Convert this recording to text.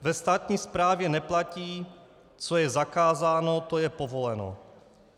Ve státní správě neplatí, co je zakázáno, to je povoleno.